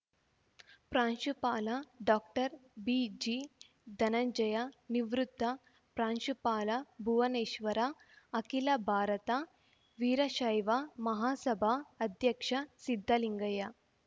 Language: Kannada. ಪ್ರಾಂಶುಪಾಲ ಡಾಕ್ಟರ್ ಬಿಜಿ ಧನಂಜಯ ನಿವೃತ್ತ ಪ್ರಾಂಶುಪಾಲ ಭುವನೇಶ್ವರ ಅಖಿಲ ಭಾರತ ವೀರಶೈವ ಮಹಾಸಭಾ ಅಧ್ಯಕ್ಷ ಸಿದ್ದಲಿಂಗಯ್ಯ